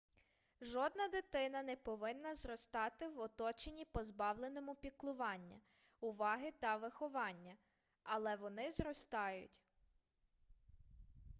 жодна дитина не повинна зростати в оточенні позбавленому піклування уваги та виховання але вони зростають